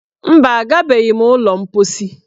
Mba, agabeghị m ụlọ mposi.